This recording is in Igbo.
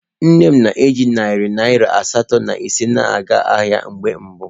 Nne m ji narị naira asatọ na ise na-aga ahịa mgbe mbụ.